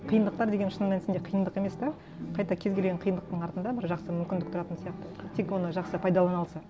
қиындықтар деген шын мәнісінде қиындық емес те қайта кез келген қиындықтың артында бір жақсы мүмкіндік тұратын сияқты тек оны жақсы пайдалана алса